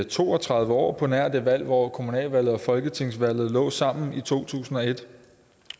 to og tredive år på nær det valg hvor kommunalvalget og folketingsvalget lå sammen i to tusind og et